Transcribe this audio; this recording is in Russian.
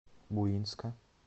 буинска